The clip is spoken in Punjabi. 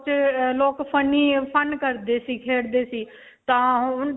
ਲੋਕ funny, fun ਕਰਦੇ ਸੀ, ਖੇਡਦੇ ਸੀ. ਤਾਂ ਹੁਣ